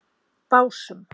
Básum